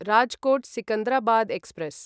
Rajkot Secunderabad express